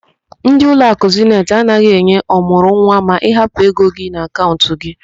Ndi ụlọakụ Zeniti anaghị enye ọmụrụnwa ma ị hapụ ego gị n'akaụnt gị